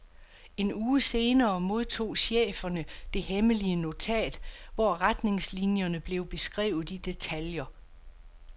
En uge senere modtog cheferne det hemmelige notat, hvor retningslinierne blev beskrevet i detaljer.